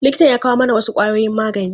Likitan ya kawo mana wasu ƙwayoyin magani.